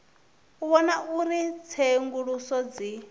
u vhona uri tsenguluso dzi